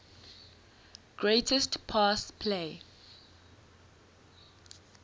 greatest pass play